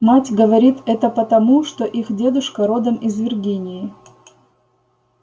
мать говорит это потому что их дедушка родом из виргинии